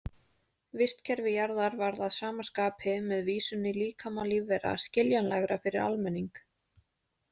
Vistkerfi Jarðar varð að sama skapi, með vísun í líkama lífvera, skiljanlegra fyrir almenning.